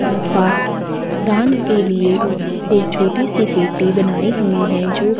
आस पास धन के लिए एक छोटी सी पेटि बनाई हुई है जो--